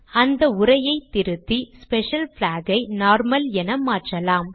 அந்த உரையை திருத்தி ஸ்பெஷல் பிளாக் ஐ நார்மல் என மாற்றலாம்